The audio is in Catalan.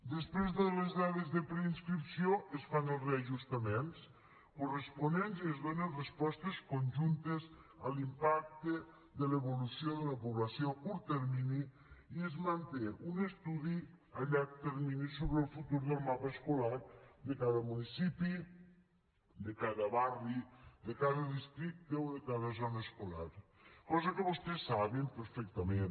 després de les dades de preinscripció es fan els reajustaments corresponents i es donen respostes conjuntes a l’impacte de l’evolució de la població a curt termini i es manté un estudi a llarg termini sobre el futur del mapa escolar de cada municipi de cada barri de cada districte o de cada zona escolar cosa que vostès saben perfectament